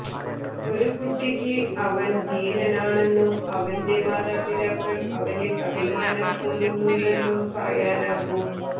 ഒരു കുട്ടിക്ക് അവൻ ധീരനാണെന്നും അവൻറെ മാതാപിതാക്കൾ അവനിൽ അഭിമാനം കൊള്ളുന്നുണ്ടെന്നും പറയാനാകും